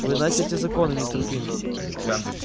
вы знаете эти законы мистер куинн